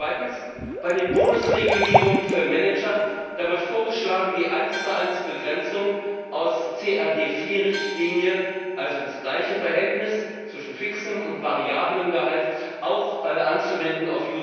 Zweitens Bei den Bonusregulierungen für Manager wird vorgeschlagen, die 11 Begrenzung aus der CRD IV Richtlinie, also das gleiche Verhältnis zwischen fixem und variablem Gehalt, auch auf UCITS anzuwenden.